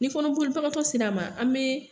Ni kɔnɔboli bagatɔ sera an ma an be